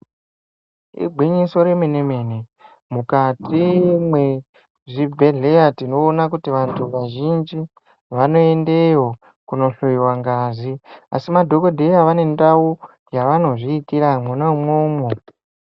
Igwinyiso remene mene mukati mwezvibhedheya tinoona kuti vantu vazhinji vanoendeyo kunohloiwa ngazi asi madhokodheya vane ndau yevanozviitira mwona umwomwo.